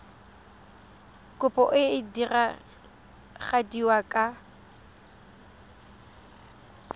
kopo e e diragadiwa ka